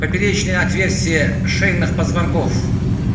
поперечные отверстия шейных позвонков